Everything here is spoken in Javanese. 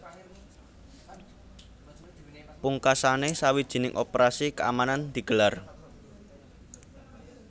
Pungkasané sawijining operasi keamanan digelar